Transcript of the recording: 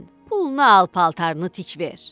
Pulunu al paltarını tik ver.